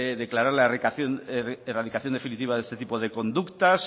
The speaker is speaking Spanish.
declarar la erradicación definitiva de este tipo de conductas